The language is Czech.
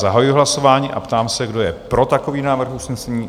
Zahajuji hlasování a ptám se, kdo je pro takový návrh usnesení?